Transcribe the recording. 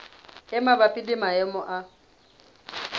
e mabapi le maemo a